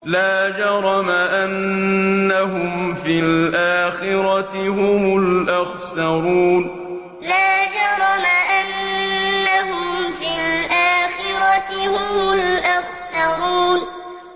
لَا جَرَمَ أَنَّهُمْ فِي الْآخِرَةِ هُمُ الْأَخْسَرُونَ لَا جَرَمَ أَنَّهُمْ فِي الْآخِرَةِ هُمُ الْأَخْسَرُونَ